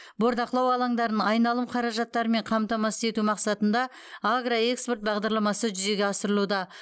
бордақылау алаңдарын айналым қаражаттарымен қамтамасыз ету мақсатында агроэкспорт бағдарламасы жүзеге асырылуда